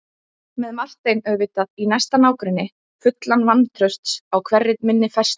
Með Martein auðvitað í næsta nágrenni, fullan vantrausts á hverri minni færslu.